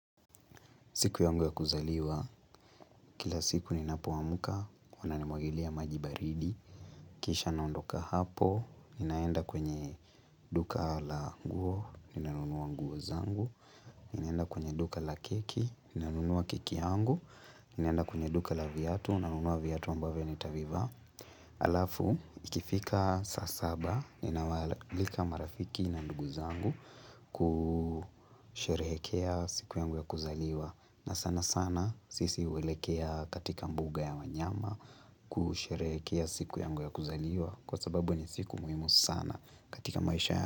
Siku yangu ya kuzaliwa, kila siku ni napoamka, huwanajimwagilia majibaridi, kisha naondoka hapo, ni naenda kwenye duka la nguo, ninanunua nguo zangu, ninaenda kwenye duka la keki, ninanunua keki yangu, ninaenda kwenye duka la viyatu, ninaunua viatu ambavyo nitavivaa. Alafu ikifika saa saba ninawaalika marafiki na ndugu zangu kusherehekea siku yangu ya kuzaliwa na sana sana sisi huelekea katika mbuga ya wanyama kusherehekea siku yangu ya kuzaliwa Kwa sababu ni siku muhimu sana katika maisha ya.